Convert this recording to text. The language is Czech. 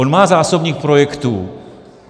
On má zásobník projektů.